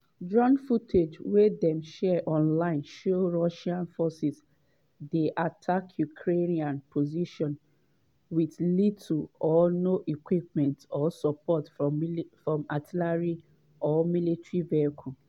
drone footage wey dem share online show russian forces dey attack ukrainian positions with little or no equipment or support from artillery or military vehicles.